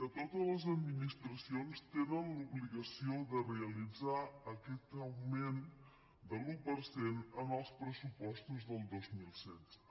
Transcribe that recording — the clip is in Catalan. que totes les administracions tenen l’obligació de realitzar aquest augment de l’un per cent en els pressupostos del dos mil setze